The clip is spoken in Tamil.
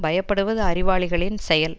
பயப்படுவது அறிவாளிகளின் செயல்